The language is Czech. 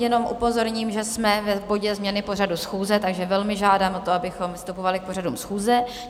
Jenom upozorním, že jsme v bodě Změny pořadu schůze, takže velmi žádám o to, abychom vystupovali k pořadu schůze.